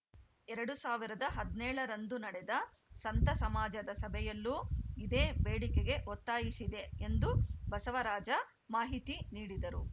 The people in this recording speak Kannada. ಎರಡ್ ಸಾವಿರದ ಹದಿನೇಳ ರಂದು ನಡೆದ ಸಂತ ಸಮಾಜದ ಸಭೆಯಲ್ಲೂ ಇದೇ ಬೇಡಿಕೆಗೆ ಒತ್ತಾಯಿಸಿದೆ ಎಂದು ಬಸವರಾಜ ಮಾಹಿತಿ ನೀಡಿದರು